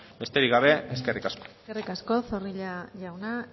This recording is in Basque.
besterik gabe eskerrik asko eskerrik asko zorrilla jauna